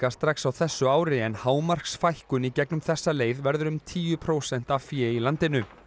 strax á þessu ári en hámarksfækkun í gegnum þessa leið verður um tíu prósent af fé í landinu